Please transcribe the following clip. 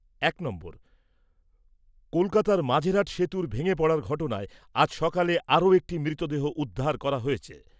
এক, কলকাতার মাঝেরহাট সেতুর ভেঙে পড়ার ঘটনায় আজ সকালে আরো একটি মৃতদেহ উদ্ধার হয়েছে।